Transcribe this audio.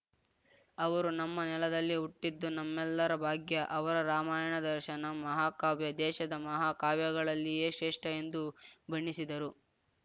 ಅವರು ನಮ್ಮ ನೆಲದಲ್ಲಿ ಹುಟ್ಟಿದ್ದು ನಮ್ಮೆಲ್ಲರ ಭಾಗ್ಯಅವರ ರಾಮಾಯಣದರ್ಶನಂ ಮಹಾ ಕಾವ್ಯ ದೇಶದ ಮಹಾ ಕಾವ್ಯಗಳಲ್ಲಿಯೇ ಶ್ರೇಷ್ಠ ಎಂದು ಬಣ್ಣಿಸಿದರು